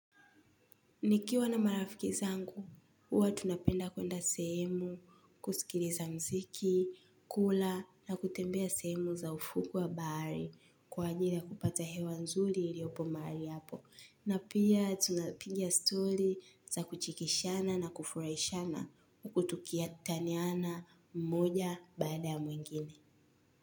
Nikiwa na marafiki zangu, huwa tunapenda kuenda sehemu, kusikiliza mziki, kula na kutembea sehemu za ufuu wa baari kwa ajili ya kupata hewa nzuri iliopo mahali hapo. Na pia tunapinga story za kuchekeshana na kufuraishana uku tuki taniana mmoja baada ya mwingine.